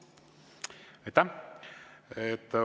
Aitäh!